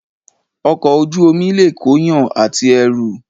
Ọkọ̀ Ojú omi lè kóyàn àti ẹrù